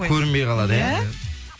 көрінбей қалады иә